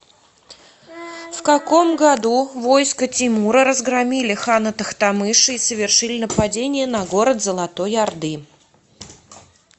в каком году войска тимура разгромили хана тохтамыша и совершили нападение на город золотой орды